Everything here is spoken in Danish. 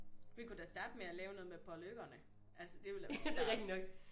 Vi kunne da starte med at lave noget med pol.øk'erne altså det ville da være en start